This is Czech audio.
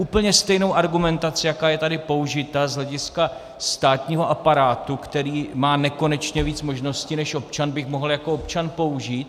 Úplně stejnou argumentací, jaká je tady použita z hlediska státního aparátu, který má nekonečně víc možností než občan, bych mohl jako občan použít.